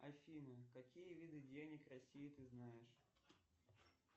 афина какие виды денег в россии ты знаешь